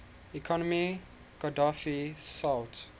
economy qadhafi sought